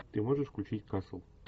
ты можешь включить касл